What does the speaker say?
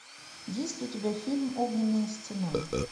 есть ли у тебя фильм огненная стена